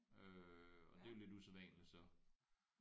Øh og det er jo lidt usædvanligt så